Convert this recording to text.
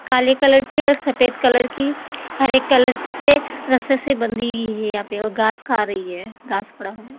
काले कलर की और सफेद कलर की हरे कलर से रस्से से बंधी हुई है यहां पे वो घास खा रही है घास पड़ा है।